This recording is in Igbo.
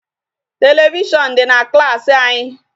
Television dị na klaasị anyị.